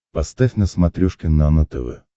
поставь на смотрешке нано тв